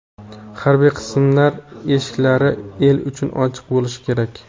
Harbiy qismlar eshiklari el uchun ochiq bo‘lishi kerak.